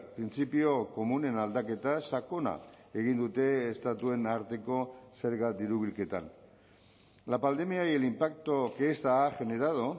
printzipio komunen aldaketa sakona egin dute estatuen arteko zerga diru bilketan la pandemia y el impacto que esta ha generado